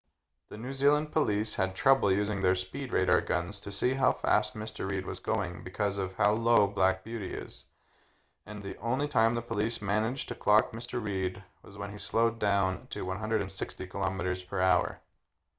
the new zealand police had trouble using their speed radar guns to see how fast mr reid was going because of how low black beauty is and the only time the police managed to clock mr reid was when he slowed down to 160km/h